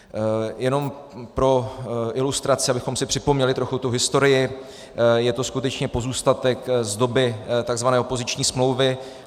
Jenom pro ilustraci, abychom si připomněli trochu tu historii, je to skutečně pozůstatek z doby tzv. opoziční smlouvy.